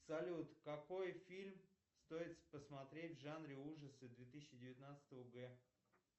салют какой фильм стоит посмотреть в жанре ужасы две тысячи девятнадцатого г